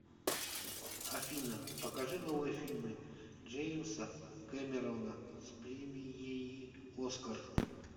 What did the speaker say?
афина покажи новые фильмы джеимса кемеррона с премиеи оскар